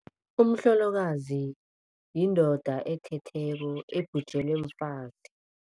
Umhlolokazi yindoda ethetheko ebhujelwe mfazi.